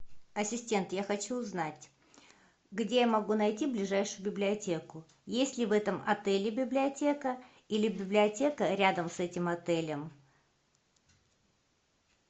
ассистент я хочу узнать где я могу найти ближайшую библиотеку есть ли в этом отеле библиотека или библиотека рядом с этим отелем